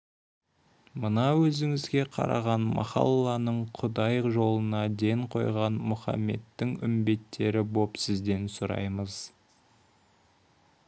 мына өзіңізге қараған махалланың құдай жолына ден қойған мұхаметтің үмбеттері боп сізден сұраймыз